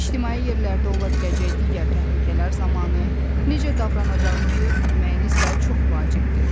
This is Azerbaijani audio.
İctimai yerlərdə ola biləcək digər təhlükələr zamanı necə davranacağınızı bilməyiniz də çox vacibdir.